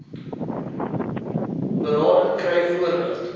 berading kry voordat